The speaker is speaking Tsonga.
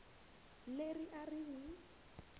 leri a ri n wi